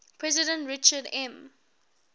president richard m